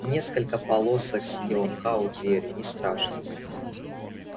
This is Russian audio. несколько полосок синего мха у двери не страшно